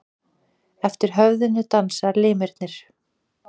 Eftir höfðinu dansa limirnir.